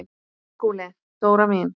SKÚLI: Dóra mín!